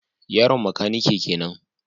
Yaron makanike kenan